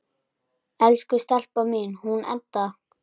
Elsku stelpan mín, hún Edda!